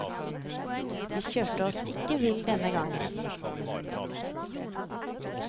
Vi kjørte oss ikke vill denne gangen.